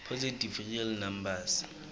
positive real numbers